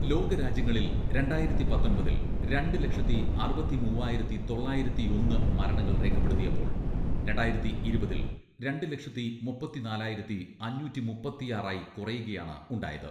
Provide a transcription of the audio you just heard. ലോകരാജ്യങ്ങളിൽ രണ്ടായിരത്തി പത്തൊൻപതിൽ രണ്ട് ലക്ഷത്തി അറുപത്തിമൂവ്വായിരത്തി തൊള്ളായിരത്തിയൊന്ന് മരണങ്ങൾ രേഖപ്പെടുത്തിയപ്പോൾ രണ്ടായിരത്തി ഇരുപതിൽ രണ്ട് ലക്ഷത്തി മുപ്പത്തിനാലായിരത്തി അഞ്ഞൂറ്റി മുപ്പത്തിയാറായി കുറയുകയാണ് ഉണ്ടായത്.